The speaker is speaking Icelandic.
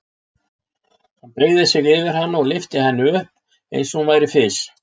Hann beygði sig yfir hana og lyfti henni upp eins og hún væri fis.